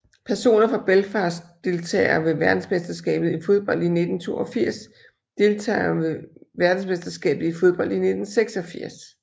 Personer fra Belfast Deltagere ved verdensmesterskabet i fodbold 1982 Deltagere ved verdensmesterskabet i fodbold 1986